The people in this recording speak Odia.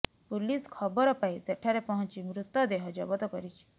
ପୁଲିସ ଖବର ପାଇ ସେଠାରେ ପହଁଚି ମୃତଦେହ ଜବତ କରିଛି